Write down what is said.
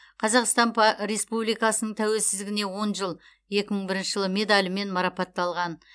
қазақстан па республикасының тәуелсіздігіне он жыл екі мың бірінші жылы медалімен марапатталған